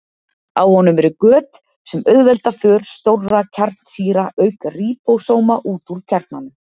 Á honum eru göt sem auðvelda för stórra kjarnsýra auk ríbósóma út úr kjarnanum.